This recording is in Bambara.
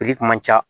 kun man ca